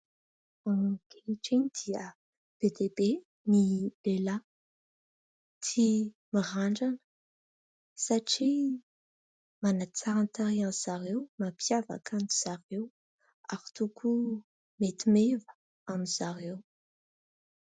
Ankehitriny dia be dia be ny lehilahy tia mirandrana satria manatsara ny tarehan'izy ireo, mampiavaka azy ireo ary koa mety meva amin'izy ireo.